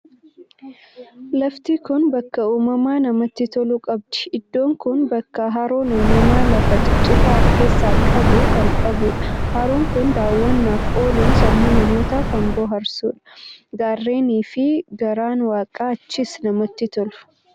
Lafti kun bakka uumamaa namatti tolu qabdii Iddoon kun bakka haroon uumamaa lafa cicitaa of keessaa qabu kan qabudha. Haroon kun daawwannaaf ooluun sammuu namootaa kan bohaarsudha. Gaarreenii fi garaan waaqaa achiis namatti tolu!